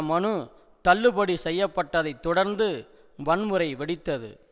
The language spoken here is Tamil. மனு தள்ளுபடி செய்ய பட்டதை தொடர்ந்து வன்முறை வெடித்தது